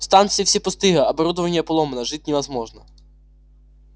станции все пустые оборудование поломано жить невозможно